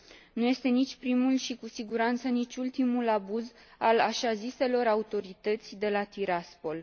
Nu este nici primul și, cu siguranță, nici ultimul abuz al așa ziselor autorități de la Tiraspol.